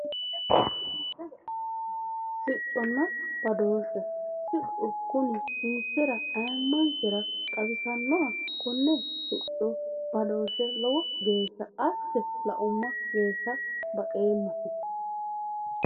Sicconna badooshshe siccu Kuni ayimmanke Xawisannoha konne sicco badooshe lowo geeshsha asse laumma woyte baxoomma